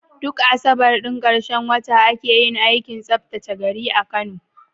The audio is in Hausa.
Duk Asabar ɗin ƙarshen wata ake yin aikin tsaftace gari a Kano.